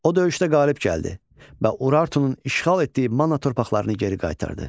O döyüşdə qalib gəldi və Urartunun işğal etdiyi Manna torpaqlarını geri qaytardı.